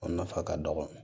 O nafa ka dɔgɔ